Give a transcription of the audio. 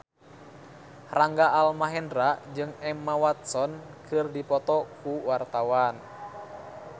Rangga Almahendra jeung Emma Watson keur dipoto ku wartawan